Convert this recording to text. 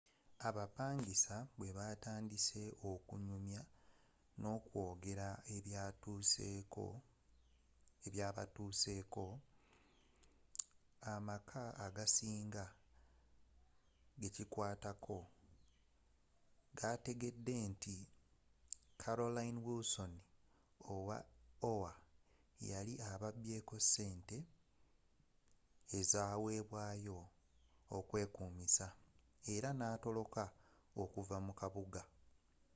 abapangisa bwebatandise okunyumya nokwogera ebyabatuuseko amaka agasinga gekikwatako gategedde nti carolyn wilsom owa oha yali ababyeko ssente ezawebwayo okwekuumisa era natoloka okuva mu kabuga